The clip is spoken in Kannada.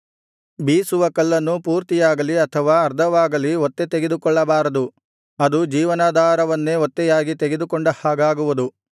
ಬೀಸುವ ಕಲ್ಲನ್ನು ಪೂರ್ತಿಯಾಗಲಿ ಅಥವಾ ಅರ್ಧವಾಗಲಿ ಒತ್ತೆ ತೆಗೆದುಕೊಳ್ಳಬಾರದು ಅದು ಜೀವನಾಧಾರವನ್ನೇ ಒತ್ತೆಯಾಗಿ ತೆಗೆದುಕೊಂಡ ಹಾಗಾಗುವುದು